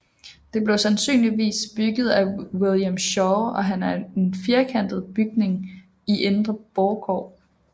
Det blev sandsynligvis bygget af William Schaw og er en firkantet bygning i indre borggård